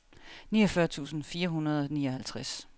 niogfyrre tusind fire hundrede og nioghalvtreds